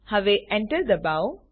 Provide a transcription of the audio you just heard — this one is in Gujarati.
હવે Enter દબાવો